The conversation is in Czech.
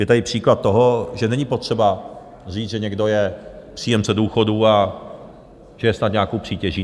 Je tady příklad toho, že není potřeba říct, že někdo je příjemce důchodu a že je snad nějakou přítěží.